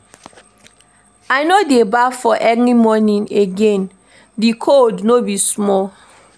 I no dey baff for early morning again, di cold no be small.